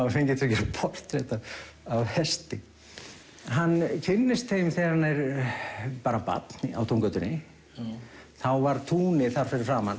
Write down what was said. var fenginn til að gera portrett af hesti hann kynnist þeim þegar hann er barn á túngötunni þá var tún þar fyrir framan